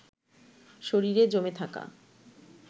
শরীরে জমে থাকা